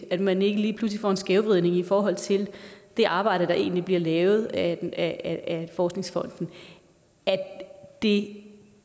at man ikke lige pludselig får en skævvridning i forhold til det arbejde der egentlig bliver lavet af forskningsfonden at det